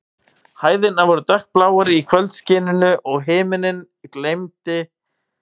Hæðirnar voru dökkbláar í kvöldskininu, og himinninn geymdi síðustu loga dagsins.